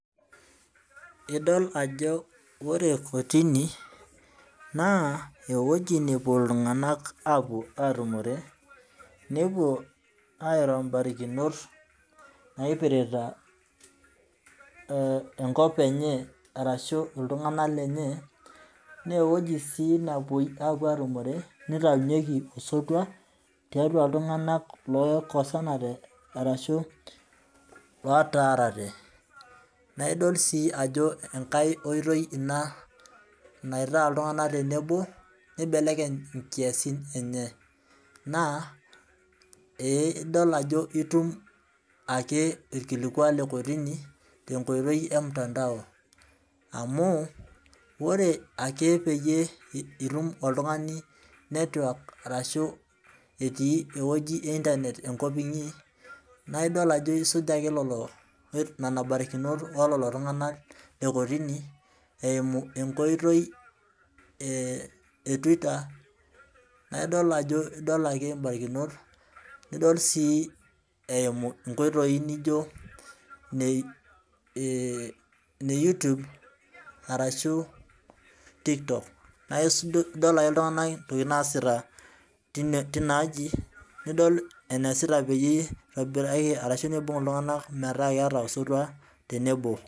idol ajp ore kotini, naa ewueji neupuo iltungank, aapuo aatumore nepuo airo barikinot, naipirta enkop enye ashu iltunganak lenye, naa ewueji sii nepuo aatumore nityunyeki osotu tiatua iltunganak oikosante ashu lotaarate,.naaidol sii ajo enkae oitoi na naitaa iltunganak tenebo, nibelekeny ikasin enye, naa ee idol ajo itumilkikuatte nkitoi e mutandao. amu ore ake pee itum oltungani network ashu enkoitoi e internet enkop inyi. naa idol aajo isuj ake nena barikinot e ktini. eimu enkotoi e twitter naa idol ake ibarakinot, nidol sii eimiu nkoitoi naijo ine youtube arashu tiktok, naa idol ake iltunganak enesiat tina aji, ashu keeata osotua tenebo.